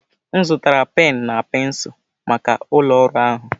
M zụtara penụ na pensụl maka ụlọ ọrụ ahụ